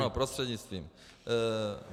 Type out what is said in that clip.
Ano, prostřednictvím.